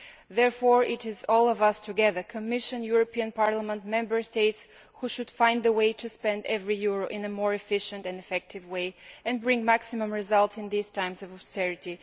Therefore, it is all of us together Commission, European Parliament, Member States who should find a way to spend every euro in a more efficient and effective way, to bring maximum results in these times of austerity.